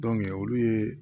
olu ye